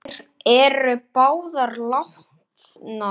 Þær eru báðar látnar.